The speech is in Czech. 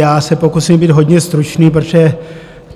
Já se pokusím být hodně stručný, protože